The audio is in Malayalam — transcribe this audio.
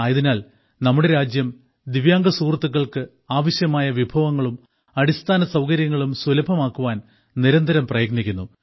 ആയതിനാൽ നമ്മുടെ രാജ്യം ദിവ്യാംഗ സുഹൃത്തുക്കൾക്ക് ആവശ്യമായ വിഭവങ്ങളും അടിസ്ഥാന സൌകര്യങ്ങളും സുലഭമാക്കുവാൻ നിരന്തരം പ്രയത്നിക്കുന്നു